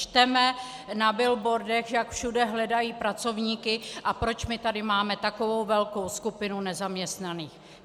Čteme na billboardech, jak všude hledají pracovníky, a proč my tady máme takovou velkou skupinu nezaměstnaných?